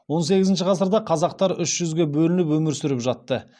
он сегізінші ғасырда қазақтар үш жүзге бөлініп өмір сүріп жатты